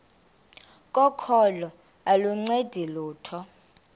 kokholo aluncedi lutho